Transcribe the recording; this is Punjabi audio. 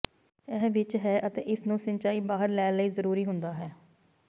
ਇਹ ਵਿੱਚ ਹੈ ਅਤੇ ਇਸ ਨੂੰ ਸਿੰਚਾਈ ਬਾਹਰ ਲੈ ਲਈ ਜਰੂਰੀ ਹੁੰਦਾ ਹੈ